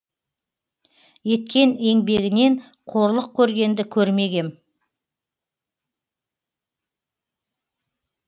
еткен еңбегінен қорлық көргенді көрмегем